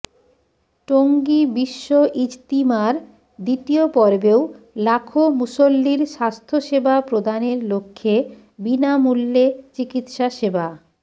টঙ্গী বিশ্ব ইজতিমার দ্বিতীয় পর্বেও লাখো মুসল্লীর স্বাস্থ্যসেবা প্রদানের লক্ষ্যে বিনামূল্যে চিকিৎসাসেবা